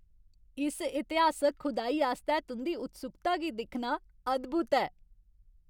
इस इतिहासक खुदाई आस्तै तुं'दी उत्सुकता गी दिक्खना अद्भुत ऐ!